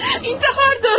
İntihardır bu.